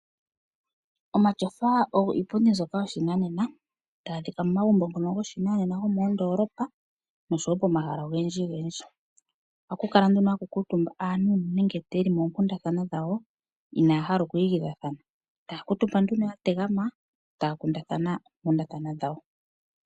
Omatyofa ogo iipundu yomoshinanena taga adhika momagumbo ngono go shinanenna mondoolopa nosho woo pomahala ogendji gendji. Ohaku kala nduno aantu shoyeli mongundathana dhawo inahaala okwi gidha thana taya kuutumba nduno yategamena taa kundathana ookundathana dhawo.